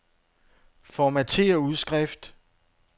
Formatér udskrift.